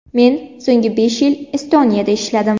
Men so‘nggi besh yil Estoniyada ishladim.